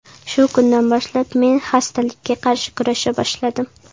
Shu kundan boshlab men xastalikka qarshi kurasha boshladim.